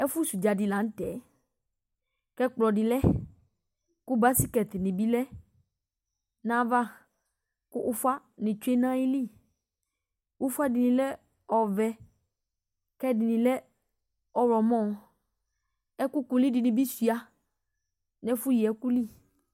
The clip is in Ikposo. ɛfo sɛ udza di lantɛ ko ɛkplɔ di lɛ ko baskɛt ni bi lɛ n'ava ko ufa ni tsue n'ayili ufa dini lɛ ɔvɛ ko ɛdini lɛ ɔwlɔmɔ ɛkò kulu di ni bi sua no ɛfo yi ɛko li